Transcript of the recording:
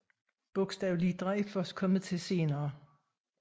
Bogstavlitra er først kommet til senere